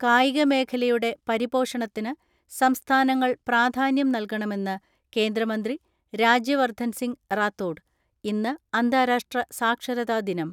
കായികമേഖലയുടെ പരിപോഷണത്തിന് സംസ്ഥാനങ്ങൾ പ്രാധാന്യം നൽകണമെന്ന് കേന്ദ്രമന്ത്രി രാജ്യ വർദ്ധൻ സിംഗ് റാത്തോഡ്. ഇന്ന് അന്താരാഷ്ട്ര സാക്ഷരതാ ദിനം.